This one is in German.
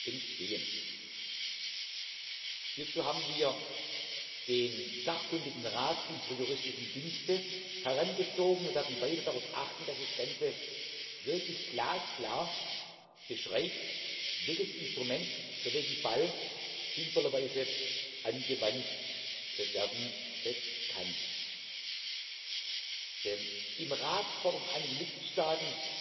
Handlungsmöglichkeiten entstehen. Hierzu haben wir den sachkundigen Rat unserer Juristischen Dienste herangezogen und werden weiter darauf achten, dass das Ganze wirklich glasklar beschreibt, welches Instrument für welchen Fall sinnvollerweise angewandt werden kann. Im Rat fordern